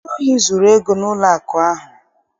Ndị ohi zuru ego n'ụlọakụ ahụ.